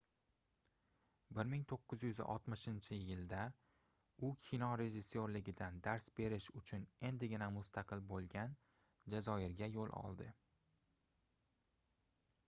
1960-yilda u kino rejissyorligidan dars berish uchun endigina mustaqil boʻlgan jazoirga yoʻl oldi